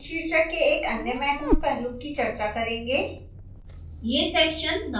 अब हम section शीर्षक के एक अन्य महत्वपूर्ण पहलू कि चर्चा करेंगे